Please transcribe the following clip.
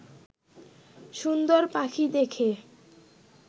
সুন্দর পাখি দেখে